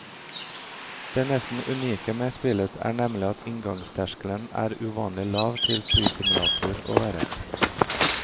Det nesten unike med spillet er nemlig at inngangsterskelen er uvanlig lav til flysimulator å være.